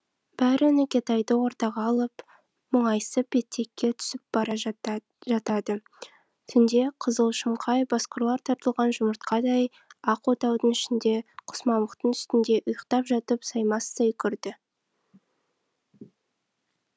бәрі нүкетайды ортаға алып мұңайысып етекке түсіп бара жата жатады түнде қызыл шымқай басқұрлар тартылған жұмыртқадай ақ отаудың ішінде құс мамықтың үстінде ұйықтап жатып саймасай көрді